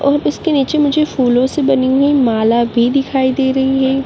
और इसके नीचे मुझे फूलों से बनी हुई माला भी दिखाई दे रही है।